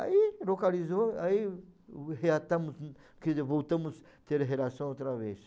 Aí localizou, aí reatamos, quer dizer, voltamos a ter relação outra vez.